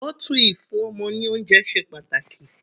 Bottle ìfún ọmọ ní oúnjẹ ṣe pàtàkì.